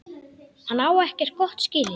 Hann á ekkert gott skilið.